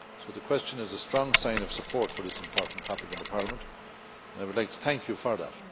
The question is a strong sign of support for this important topic in the Parliament, and I would like to thank you for that.